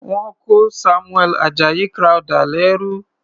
Wọ́n kó Samuel Ajayi Crowther lẹ́rú.